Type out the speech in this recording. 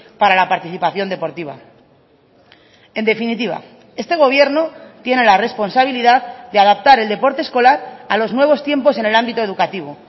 para la participación deportiva en definitiva este gobierno tiene la responsabilidad de adaptar el deporte escolar a los nuevos tiempos en el ámbito educativo